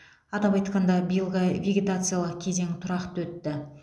атап айтқанда биылғы вегетациялық кезең тұрақты өтті